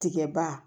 Tigɛba